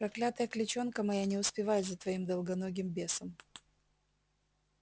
проклятая клячонка моя не успевает за твоим долгоногим бесом